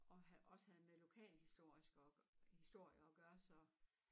Og havde også havde med lokalhistorisk at historier at gøre så